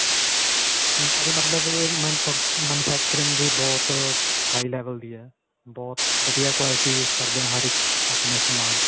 ਇਨ੍ਹਾਂ ਦੀ ਮਤਲਬ ਅਅ manufacturing ਵੀ ਬਹੁਤ high level ਦੀ ਹੈ. ਬਹੁਤ ਵਧੀਆ quality use ਕਰਦੇ ਹੈ. ਹਰ ਇੱਕ ਆਪਣੇ ਸਮਾਨ ਚ